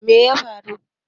me ya faru